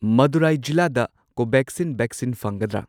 ꯃꯗꯨꯔꯥꯏ ꯖꯤꯂꯥꯗ Covaxin vaccine ꯐꯪꯒꯗ꯭ꯔꯥ?